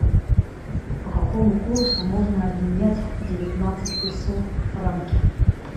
по какому курсу можно обменять девятнадцать песо в франки